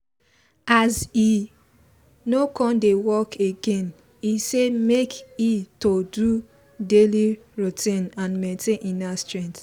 as e no come dey work again e say make e to do daily routine and maintain inner strength